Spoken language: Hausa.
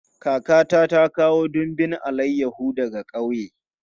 Kakata ta kawo dumbin alayahu daga ƙauye.